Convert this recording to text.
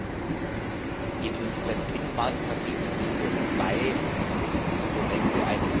In unseren Binnenmarktpaketen spielen ja zwei Instrumente eine besondere Rolle.